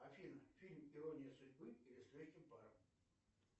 афина фильм ирония судьбы или с легким паром